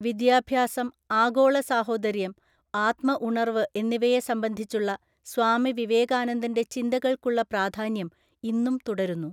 വിദ്യാഭ്യാസം, ആഗോളസഹോദര്യം, ആത്മഉണർവ്വ്എന്നിവയെ സംബന്ധിച്ചുള്ള സ്വാമി വിവേകാനന്ദന്റെ ചിന്തകൾക്കുള്ള പ്രാധാന്യം ഇന്നും തുടരുന്നു.